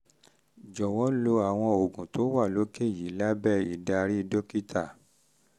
jọ̀wọ́ lo àwọn oògùn tó wà lókè yìí lábẹ́ ìdarí dókítà lábẹ́ ìdarí dókítà